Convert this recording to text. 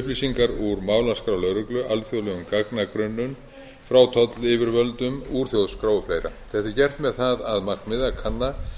upplýsingar úr málaskrá lögreglu alþjóðlegum gagnagrunnum frá tollyfirvöldum úr þjóðskrá og fleira þetta er gert með það að markmiði að kanna